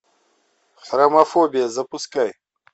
хромофобия запускай